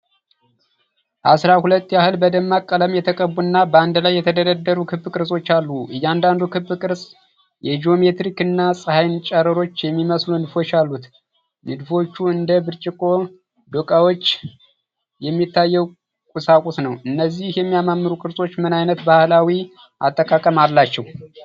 አስራ ሁለት ያህል በደማቅ ቀለም የተቀቡ እና በአንድ ላይ የተደረደሩ ክብ ቅርጾች አሉ። እያንዳንዱ ክብ ቅርጽ የጂኦሜትሪክ እና የፀሐይን ጨረሮች የሚመስሉ ንድፎች አሉት። ንድፎቹ እንደ ብርጭቆ ዶቃዎች የሚታየው ቁሳቁስ ነው። እነዚህ የሚያማምሩ ቅርጾች ምን ዓይነት ባህላዊ አጠቃቀም አላቸው?